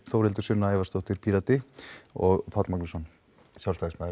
Þórhildur Sunna Ævarsdóttir Pírati og Páll Magnússon